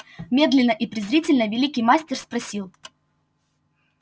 медленно и презрительно великий мастер спросил